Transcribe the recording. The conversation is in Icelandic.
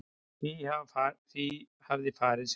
Því hafi farið sem fór